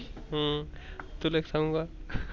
हम्म तुला एक सांगु का?